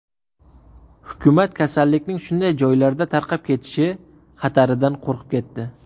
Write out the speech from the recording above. Hukumat kasallikning shunday joylarda tarqab ketishi xataridan qo‘rqib ketdi.